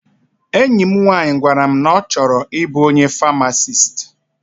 Enyi m nwaanyị gwara m na ọ chọrọ ịbụ onye famasist.